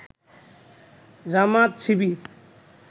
Jamaat Shibir